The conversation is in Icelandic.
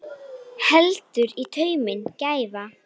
Heldur í tauminn gæfa.